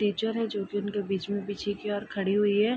Teacher है जो की उनके बीच में पीछे की ओर खड़ी हुई है।